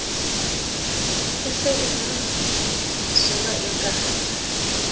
e se na mosola eke